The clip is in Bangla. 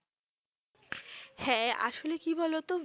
হ্যাঁ আসলে কি বলতো?